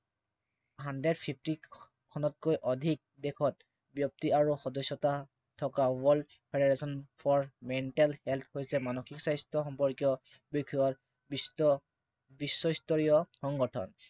hundred fifty খনতকৈ অধিক দেশত ব্য়ক্তি আৰু সদস্য়তা থকা World Federation for Mental Health হৈছে মানসিক স্বাস্থ্য় বিষয়ৰ বিশ্বস্তৰীয় সংগঠন।